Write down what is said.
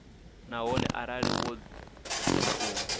nahone arali wo dzima u